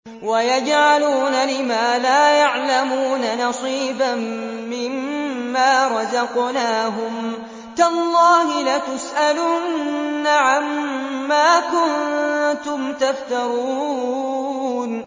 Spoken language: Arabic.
وَيَجْعَلُونَ لِمَا لَا يَعْلَمُونَ نَصِيبًا مِّمَّا رَزَقْنَاهُمْ ۗ تَاللَّهِ لَتُسْأَلُنَّ عَمَّا كُنتُمْ تَفْتَرُونَ